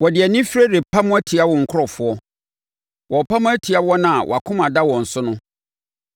Wɔde anifire repam atia wo nkurɔfoɔ wɔrepam atia wɔn a wʼakoma da wɔn so no.